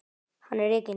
Hann er rekinn.